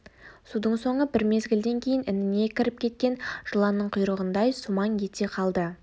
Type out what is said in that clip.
судың соңы бір мезгілден кейін ініне кіріп кеткен жыланның құйрығындай сумаң ете қалды